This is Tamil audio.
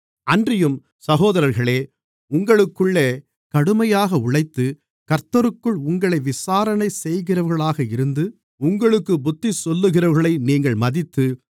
அன்றியும் சகோதரர்களே உங்களுக்குள்ளே கடுமையாக உழைத்து கர்த்தருக்குள் உங்களை விசாரணை செய்கிறவர்களாக இருந்து உங்களுக்குப் புத்திசொல்லுகிறவர்களை நீங்கள் மதித்து